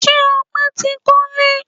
Ṣé Ọpẹ tí kọle?